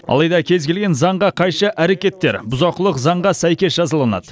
алайда кез келген заңға қайшы әрекеттер бұзақылық заңға сәйкес жазаланады